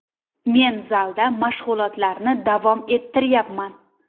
Men zalda mashg‘ulotlarni davom ettiryapman.